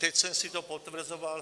Teď jsem si to potvrzoval.